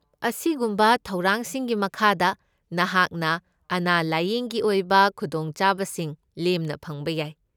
ꯑꯁꯤꯒꯨꯝꯕ ꯊꯧꯔꯥꯡꯁꯤꯡꯒꯤ ꯃꯈꯥꯗ, ꯅꯍꯥꯛꯅ ꯑꯅꯥ ꯂꯥꯢꯌꯦꯡꯒꯤ ꯑꯣꯏꯕ ꯈꯨꯗꯣꯡꯆꯥꯕꯁꯤꯡ ꯂꯦꯝꯅ ꯐꯪꯕ ꯌꯥꯏ꯫